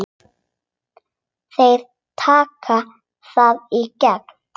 Þeir taka þig í gegn!